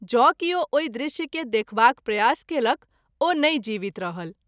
जो किओ ओहि दृश्य के देखबाक प्रयास कएलक ओ नहिं जीवित रहल।